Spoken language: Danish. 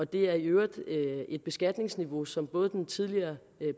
det er i øvrigt et beskatningsniveau som både den tidligere